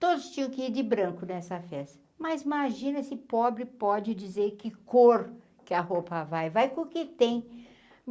Todos tinham que ir de branco nessa festa, mas imagina se pobre pode dizer que cor que a roupa vai, vai com o que tem.